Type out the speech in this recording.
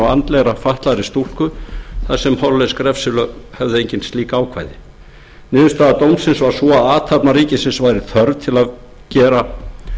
á andlega fatlaðri stúlku þar sem hollensk refsilög höfðu engin slík ákvæði niðurstaða dómsins var sú að athafna ríkisins væri þörf til að gera